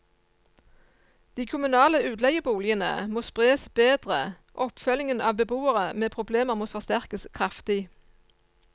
De kommunale utleieboligene må spres bedre, oppfølgingen av beboere med problemer må forsterkes kraftig.